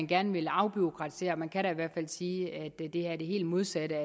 gerne vil afbureaukratisere og man kan da i hvert fald sige at det er det helt modsatte